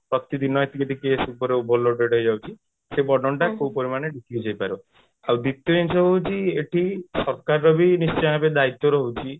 ପ୍ରତିଦିନ ଏତିକି ଏତିକି case ଉପରେ overloaded ହେଇ ଯାଉଛି ସେଇ burden ଟା କୋଉ ପରିମାଣରେ decrease ହେଇପାରିବ ଆଉ ଦ୍ଵିତୀୟ ଜିନିଷ ହଉଛି ଏଠି ସରକାର ର ବି ନିଶ୍ଚିତ ଭାବେ ଦାୟିତ୍ୟ ରହୁଛି